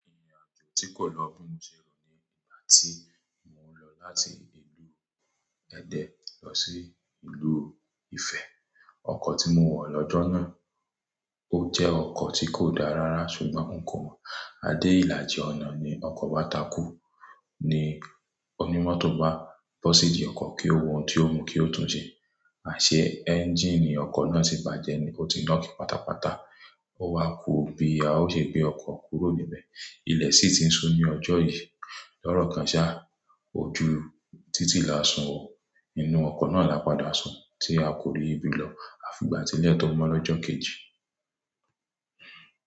Irinàjò tí kò lọ bí mo ṣe rò ní ìgbà tí mo ń lọ láti ìlú Ẹdẹ lọ sí ìlú Ifẹ̀. Ọkọ̀ tí mo wọ̀ lọ́jọ́ náà, ó jẹ́ ọkọ̀ tí kò dáa rárá ṣùgbọ́n n kò mọ̀. Adé ìlàjì ọ̀nà ni ọkọ̀ bàa takú. Ni onímọ́tò bá bọ́ síbí ọkọ̀ kí ó wo ohun tí ó mú kí ó tún ṣe. Àṣẹ ẹ́ńjíìnì ọkọ̀ náà ti bàjẹ́ ni, ó ti knock pátápátá. Ó wá kú bí a ò ṣe gbé ọkọ̀ kúrò níbẹ̀. Ilẹ̀ sì ti ń ṣú ní ọjọ́ yìí. Lọ́rọ̀ kan ṣá, ojú títì là ń sùn oọ̀, inú ọkọ̀ náà là padà sùn tí a kò rí ibi lọ. A fi ìgbà tí ilé to mo lọ́jọ́ kejì.